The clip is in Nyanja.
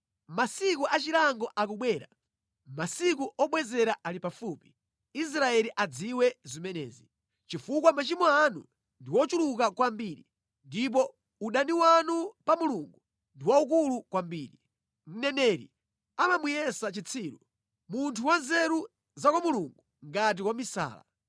Masiku achilango akubwera, masiku obwezera ali pafupi. Israeli adziwe zimenezi. Chifukwa machimo anu ndi ochuluka kwambiri ndipo udani wanu pa Mulungu ndi waukulu kwambiri. Mneneri amamuyesa chitsiru, munthu wanzeru za kwa Mulungu ngati wamisala.